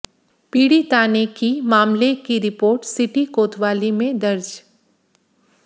पीडि़ता ने मामले की रिपोर्ट सिटी कोतवाली में दर्ज